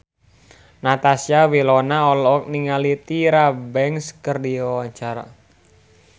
Natasha Wilona olohok ningali Tyra Banks keur diwawancara